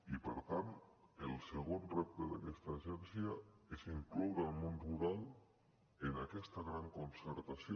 i per tant el segon repte d’aquesta agència és incloure el món rural en aquesta gran concertació